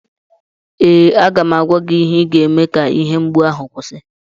ee, aga m agwa gị ihe ị ga-eme ka ihe mgbu ahụ kwụsị